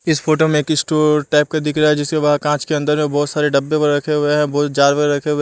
इस फोटो में एक इस्टोोोर टाइप का दिख रहा है जिसके बाहर काँच के अंदर में बहुत सारे डब्बे व रखे हुए हैं बहुत जार वैरा रखे हुए --